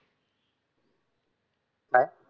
काय?